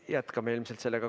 Jätkame ilmselt sellega.